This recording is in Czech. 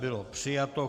Bylo přijato.